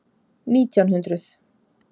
Nítján hundruð